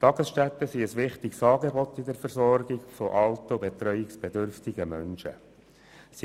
Tagesstätten bilden bei der Versorgung von alten und betreuungsbedürftigen Menschen ein wichtiges Angebot.